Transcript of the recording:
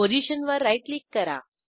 पोझिशनवर right click करा